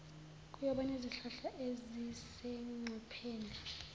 ukuyobona izihlahla ezisengcupheni